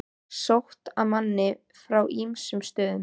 Sótt að manni frá ýmsum stöðum.